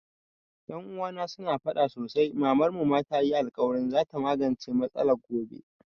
Ƴan uwana su na faɗa sosai Mamar mu tayi alkawarin za ta magance matsalar gobe